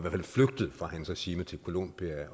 fald flygtet fra hans regime til colombia